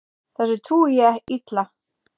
Þessu trúi ég illa.